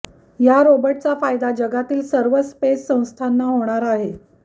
या रोबोटचा फायदा जगातील सर्वच स्पेस संस्थांना होणार आहे